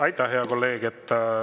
Aitäh, hea kolleeg!